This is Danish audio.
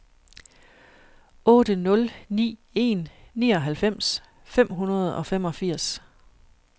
otte nul ni en nioghalvfems fem hundrede og femogfirs